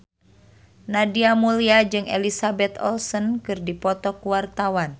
Nadia Mulya jeung Elizabeth Olsen keur dipoto ku wartawan